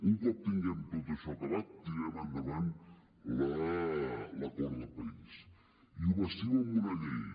un cop tinguem tot això acabat tirarem endavant l’acord de país i ho bastim amb una llei